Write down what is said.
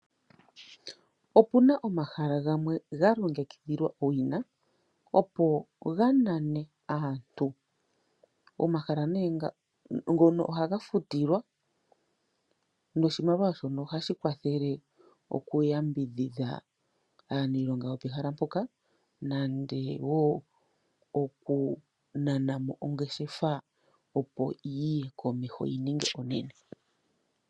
Opu na omahala gamwe ga longekidhilwa owina opo ga nane aantu. Omahala nee ngono ohaga futilwa noshimaliwa shono ohashi kwathele oku yambidhidha aaniilonga yopehala moka nande wo oku nana mo ongeshefa opo yiye komeho yi ninge onene.